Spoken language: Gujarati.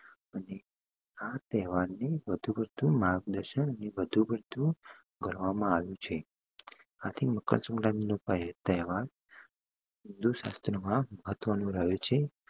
અને આ તહેવારને વધુ પડતું માર્ગ દર્શન ને વધુ પડતું ગણવામાં આવ્યું છે આથી મકર સંક્રાંતિ નો તહેવાર હિંદુ શાસ્ત્ર માં મહ્ત્વ નુ રહીયુ છે